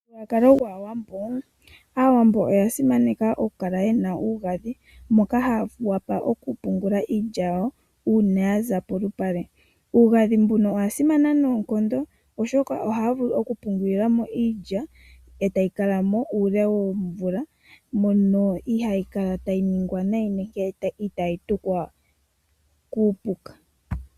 Momuthigululwakalo gwAawambo, Aawambo oya simaneka okukala yena uugandhi, moka haya pungula mo iilya uuna yaza polupale. Uugandhi mbuno owasimana noonkondo oshoka ohaya vulu okupungulilamo iilya , etayi kalamo uule womvula mono ihaayi kala tayi ningwa nayi nenge itaayi tukwa kuupuka.